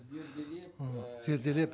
зерделеп ы зерделеп